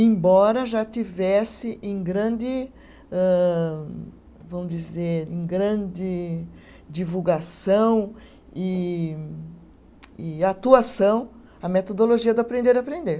embora já tivesse em grande âh, vão dizer, em grande divulgação e e atuação a metodologia do aprender a aprender.